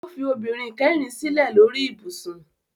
Ó fi obìnrin kẹrin sílẹ̀ lórí ibùsùn